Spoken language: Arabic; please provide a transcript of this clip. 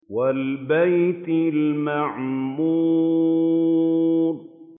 وَالْبَيْتِ الْمَعْمُورِ